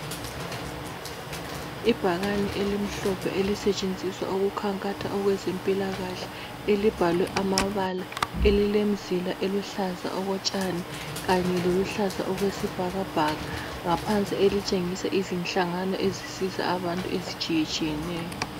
Ibhakane elimhlophe elisetshenziswa ukukhankatha okwezempilakahle libhalwe amabala elilemzila eluhlaza okotshani kanye lokuluhlaza okwesibhakabhaka ngaphansi elitshengisa izinhlangano ezisiza abantu ezitshiyetshiyeneyo.